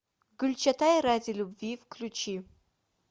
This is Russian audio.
гюльчатай ради любви включи